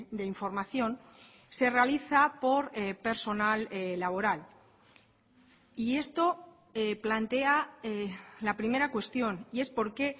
de información se realiza por personal laboral y esto plantea la primera cuestión y es por qué